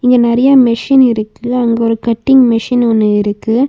இங்கெ நெறைய மெஷின் இருக்கு அங்கெ ஒரு கட்டிங் மெஷின் ஒன்னு இருக்கு.